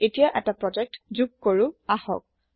এতিয়া এটা প্ৰজেক্ট যোগ কৰো আহক